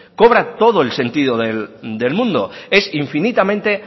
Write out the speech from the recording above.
cobra todo el sentido del mundo es infinitamente